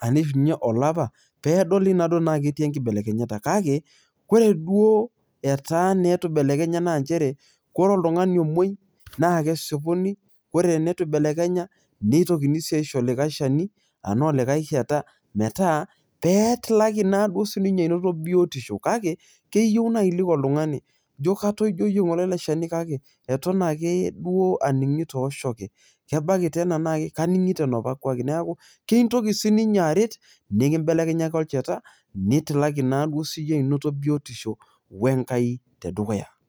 anaa eishunye olapa, pee edoli naa duoo ena ketii enkibelekenyata, kake ore duo etaa naa eitu ibelekenya naa nchere, ore oltungani omuoi naa kesipuni. ore teneitu eibelekenya, neitokini sii aisho olikae shani, anaa olikae shata, meta pee etilaki naaduo siii ninye anoto biotisho. kake keyieu naaji niliki oltunganai. ijo katoijoyie ngole ele shani kake, eton ake duoo aningito oshoke. kebaiki tena naaji kaningito enapake. neeku kintoki sii ninye aret nikibelekenyaki olchata. nitalaki naaduo siiyie anoto biotisho we nkai tedukuyu.